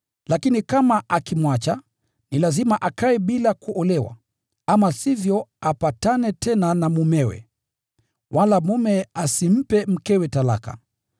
Lakini akitengana, ni lazima akae bila kuolewa, ama sivyo apatane tena na mumewe. Wala mume asimpe mkewe talaka.